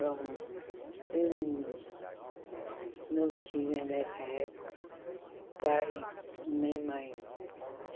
Bom, eu não não tinha nessa época pai nem mãe.